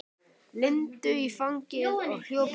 Lindu í fangið og hljóp út.